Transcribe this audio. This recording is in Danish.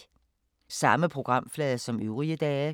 Samme programflade som øvrige dage